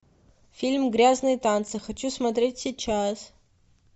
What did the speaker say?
фильм грязные танцы хочу смотреть сейчас